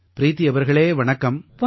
ப்ரீதி அவர்களே வணக்கம்